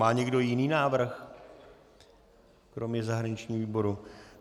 Má někdo jiný návrh kromě zahraničního výboru?